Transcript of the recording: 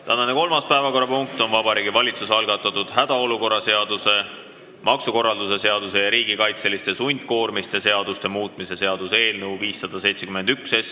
Tänane kolmas päevakorrapunkt on Vabariigi Valitsuse algatatud hädaolukorra seaduse, maksukorralduse seaduse ja riigikaitseliste sundkoormiste seaduse muutmise seaduse eelnõu 571.